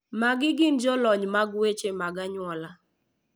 Magi gin jolony mag weche mag anyuola.